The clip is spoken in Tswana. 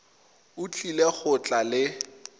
o tlile go tla le